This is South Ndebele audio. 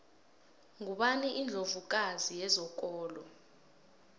ngubani indlovu kazi yezokolo